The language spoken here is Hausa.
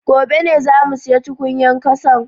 Gobe ne zamu siya tukunyan kasan